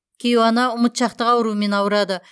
кейуана ұмытшақтық ауруымен ауырады